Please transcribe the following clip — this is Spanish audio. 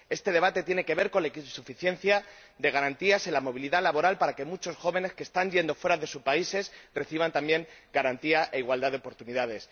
este debate tiene que ver con la insuficiencia de garantías en la movilidad laboral para que muchos jóvenes que se están yendo fuera de sus países reciban también garantía e igualdad de oportunidades.